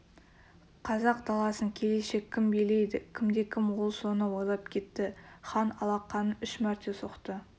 қазақ даласын келешек кім билейді кімді кім ол соны ойлап кетті хан алақанын үш мәрте соқты